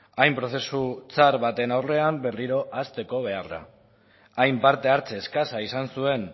hain prozesu txar baten aurrean berriro hasteko beharra hain partehartze eskasa izan zuen